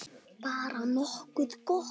Bara nokkuð gott.